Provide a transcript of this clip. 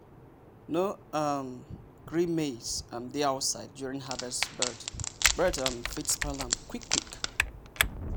no um gree maize um dey outside during harvest bird um fit spoil am quick quick.